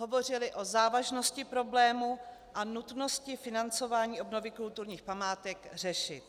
Hovořili o závažnosti problému a nutnosti financování obnovy kulturních památek řešit.